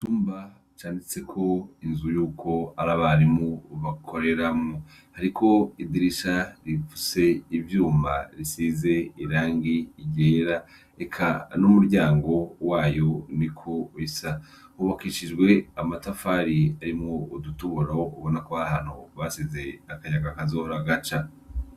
Icumba canditseko yuko ari abarimu bakoreramwo hariko idirisha rifise ivyuma risize irangire ryera eka n'umuryango wayo niko usa wubakishijwe amatafari arimwo udutoboro ubona ko ari ahantu basize akayaga kazohora gaca.